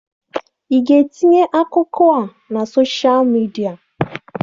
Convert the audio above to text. Ị ga-etinye akụkọ a na soshal midia?